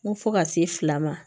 N ko fo ka se fila ma